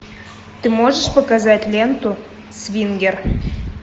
ты можешь показать ленту свингер